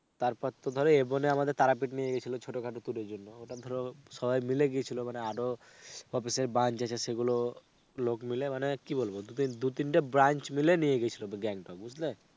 তার পর তো ধরো ইবনে আমাদের তারাপীঠ নিয়ে গেছিলো ছোটোখাটো tour এর জন্য. ওটা ধরো সবাই মিলে গেছিলো মানে ধরো আরো office এর branch আছে সেগুলোর লোক মিলে মানে কি বলব দু তিনটে branch মিলে নিয়ে গেছিলো গ্যাংটক. বুঝলে?